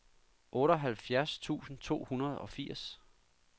otteoghalvfjerds tusind to hundrede og firs